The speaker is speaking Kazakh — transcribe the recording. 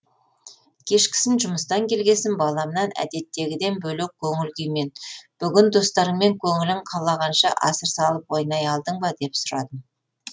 кешкісін жұмыстан келгесін баламнан әдеттегіден бөлек көңіл күймен бүгін достарыңмен көңілің қалағанша асыр салып ойнай алдың ба деп сұрадым